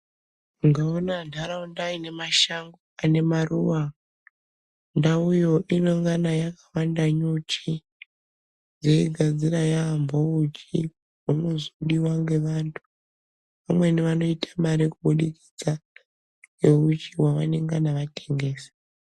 Mukaona ndaraunda ine mashango ane maruva ndau iyo inongana yaka wanda nyuchi yei gadzira yambo huchi hunozo diwa nge vantu vamweni vanoita mari ku budikidza nge uchi wa vanongana vatengesa.